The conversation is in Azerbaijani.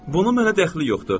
Bunu mənə dəxli yoxdur.